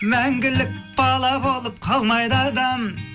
мәңгілік бала болып қалмайды адам